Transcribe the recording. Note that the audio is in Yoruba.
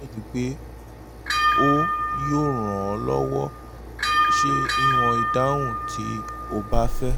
mo nireti pe o yoo ran ọ lọwọ ṣe iwọn idahun mi ti o ba fẹ